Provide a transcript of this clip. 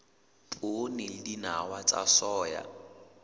poone le dinawa tsa soya